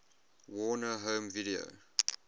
warner home video